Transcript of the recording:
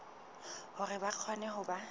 hore ba kgone ho ba